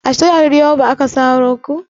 A jahar yobe ake saro kuka?